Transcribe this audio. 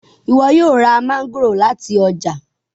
ìwo yóò rá Mángòrò láti ọjà